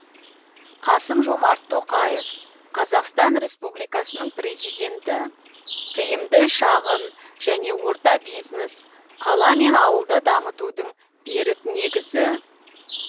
қасым жомарт тоқаев қазақстан республикасының президенті тиімді шағын және орта бизнес қала мен ауылды дамытудың берік негізі